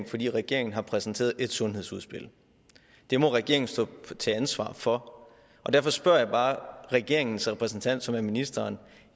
fordi regeringen har præsenteret et sundhedsudspil det må regeringen stå til ansvar for og derfor spørger jeg bare regeringens repræsentant som er ministeren